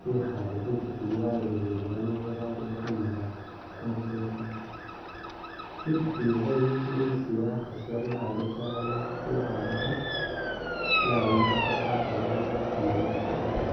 bekhale khwitikiyi baloleleye bano bali khunaba kumukhekha khwititiyi khwe intsu isi bakhasi babekhale itayi bekhalekho yawumbukhaka ela ibonekhana yakora.